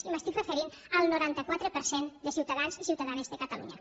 i m’estic referint al noranta quatre per cent de ciutadans i ciutadanes de catalunya